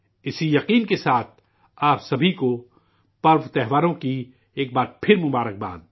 اسی امید کے ساتھ، آپ سبھی کو تہواروں کی ایک بار پھر نیک خواہشات